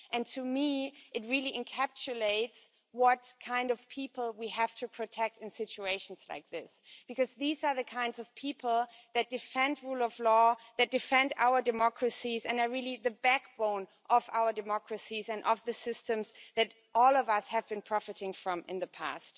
To me, this really encapsulates what kind of people we have to protect in situations like this these are the kind of people that defend the rule of law, defend our democracies, and are the backbone of our democracies and of the systems that all of us have been profiting from in the past.